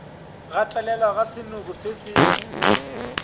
gatelelwa ga senoko se se